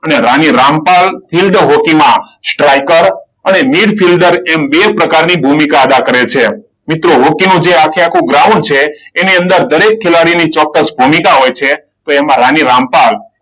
અને રાણી રામપાલ ફિલ્ડ હોકીમાં સ્ટ્રાઈકર અને મેડ ફિલ્ડર એમ બે પ્રકારની ભૂમિકા આદા કરે છે. મિત્રો હોકી નું આખેઆખું જે ગ્રાઉન્ડ છે. એની અંદર દરેક ખેલાડીની ચોક્કસ ભૂમિકા હોય છે. તો એમાં રાણી રામપાલ,